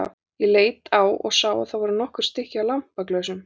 Ég leit á og sá að það voru nokkur stykki af lampaglösum.